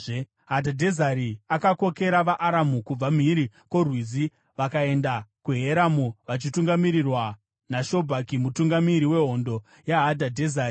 Hadhadhezeri akakokera vaAramu kubva mhiri kwoRwizi; vakaenda kuHeramu vachitungamirirwa naShobhaki mutungamiri wehondo yaHadhadhezeri.